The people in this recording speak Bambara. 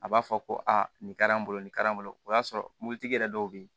A b'a fɔ ko aa nin kari an bolo nin kari an bolo o y'a sɔrɔ mobilitigi yɛrɛ dɔw bɛ yen